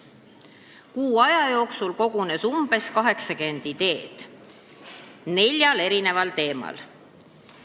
Kuu aja jooksul kogunes umbes 80 ideed neljal teemal.